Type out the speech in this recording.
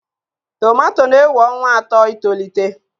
Tomato na-ewe ọnwa atọ itolite.